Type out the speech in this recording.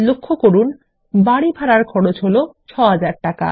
লক্ষ্য করুন বাড়ি ভাড়ার খরচ ৬০০০ টাকা